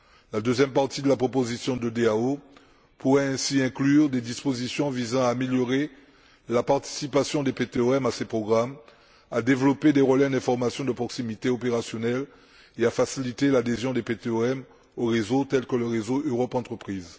La deuxième partie de la proposition de DAO pourrait ainsi inclure des dispositions visant à améliorer la participation des PTOM à ces programmes, à développer des relais d'information de proximité opérationnels et à faciliter l'adhésion des PTOM aux réseaux tels que le réseau Europe entreprises.